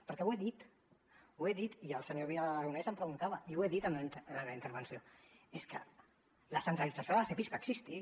perquè ho he dit ho he dit i el senyor vidal aragonés m’ho preguntava i ho he dit en la meva intervenció és que la centralització dels epis va existir